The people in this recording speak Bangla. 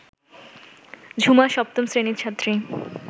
ঝুমা সপ্তম শ্রেণীর ছাত্রী